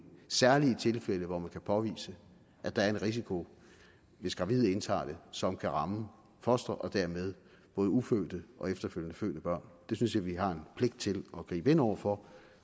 særlig i tilfælde hvor man kan påvise at der er en risiko hvis gravide indtager det som kan ramme fosteret og dermed både ufødte og efterfølgende fødte børn det synes jeg vi har en pligt til at gribe ind over for